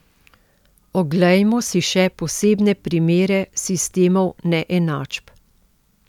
Oglejmo si še posebne primere sistemov neenačb.